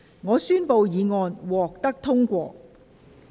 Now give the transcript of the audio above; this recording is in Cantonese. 我宣布議案獲得通過。